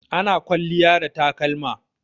Ana kwalliya da takalma.